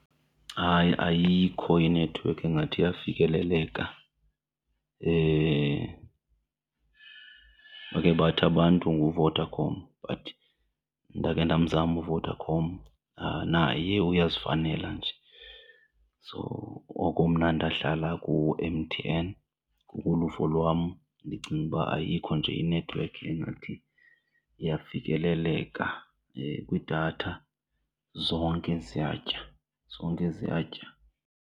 Hayi, ayikho inethiwekhi engathi iyafikeleleka. Bakhe bathi abantu nguVodacom but ndakhe ndamzama uVodacom naye uyazifanela nje, so oko mna ndahlala ku-M_T_N. Ngokoluvo lwam ndicinga uba ayikho nje inethiwekhi engathi iyafikeleleka kwidatha zonke ziyatsha, zonke ziyatya.